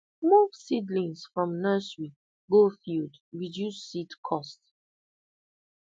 move seedlings from nursery go field reduce seed cost